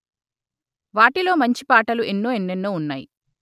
వాటిలో మంచిపాటలు ఎన్నో ఎన్నెన్నో ఉన్నాయి